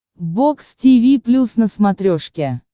бокс тиви плюс на смотрешке